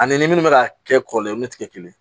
Ani ni minnu bɛ ka kɛ kɔrɔlen olu tɛ kɛ kelen ye